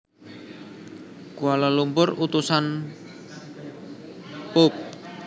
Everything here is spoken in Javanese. Kuala Lumpur Utusan Pub